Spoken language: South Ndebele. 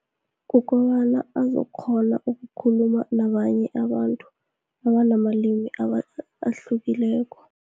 Kukobana azokghona ukukhuluma nabanye abantu, nabanamalimi ahlukileko.